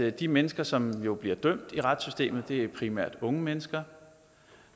at de mennesker som jo bliver dømt i retssystemet primært er unge mennesker